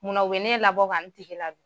Mun na u be ne labɔ ka n tigi la d ?